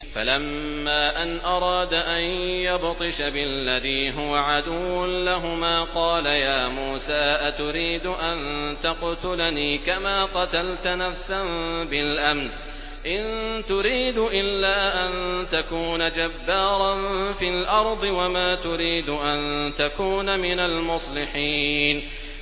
فَلَمَّا أَنْ أَرَادَ أَن يَبْطِشَ بِالَّذِي هُوَ عَدُوٌّ لَّهُمَا قَالَ يَا مُوسَىٰ أَتُرِيدُ أَن تَقْتُلَنِي كَمَا قَتَلْتَ نَفْسًا بِالْأَمْسِ ۖ إِن تُرِيدُ إِلَّا أَن تَكُونَ جَبَّارًا فِي الْأَرْضِ وَمَا تُرِيدُ أَن تَكُونَ مِنَ الْمُصْلِحِينَ